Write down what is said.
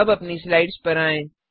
अब अपनी स्लाइड्स पर आएँ